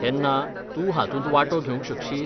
तेन्ना, तूं हातूंत वांटो घेवंक शकशीत?